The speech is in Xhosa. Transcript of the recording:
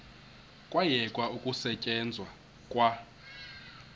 kwayekwa ukusetyenzwa kwa